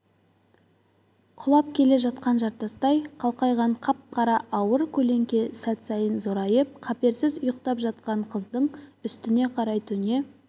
құлап келе жатқан жартастай қалқайған қап-қара ауыр көлеңке сәт сайын зорайып қаперсіз ұйықтап жатқан қыздың үстіне қарай төне